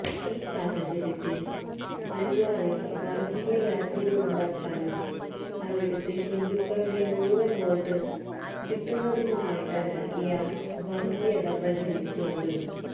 ഈ സാഹചര്യത്തില് അല്വാറില് വര്ഗീയ വേര്തിരിവുണ്ടാക്കാനും അവിടുത്തെ ഹിന്ദുക്കളുടെ മുഴുവന് വോട്ട് കിട്ടുന്നതിനുമായിട്ടാണ് ഇയാള് വര്ഗീയത പ്രചരിപ്പിക്കുന്നത്